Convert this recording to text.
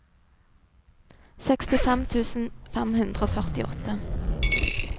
sekstifem tusen fem hundre og førtiåtte